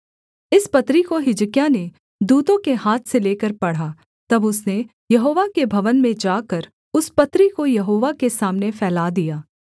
इस पत्री को हिजकिय्याह ने दूतों के हाथ से लेकर पढ़ा तब उसने यहोवा के भवन में जाकर उस पत्री को यहोवा के सामने फैला दिया